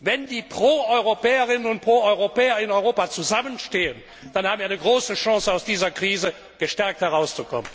wenn die Proeuropäerinnen und Proeuropäer in Europa zusammenstehen, dann haben wir eine große Chance, aus dieser Krise gestärkt herauszukommen!